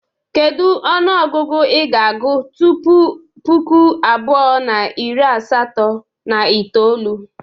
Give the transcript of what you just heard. Kedu onuogugu ị ga-agụ tupu puku abuo na iri asato na itoolu?